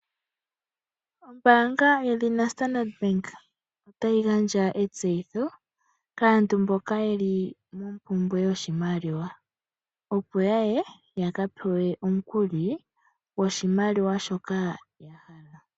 Ombaanga yedhina Standard Bank, otayi gandja etseyitho kaantu mboka yeli mompumbwe yoshimaliwa opo yaye ya ka pewe omukuli goshimaliwa shoka ya hala.